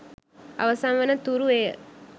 අවසන් වන තූරු එය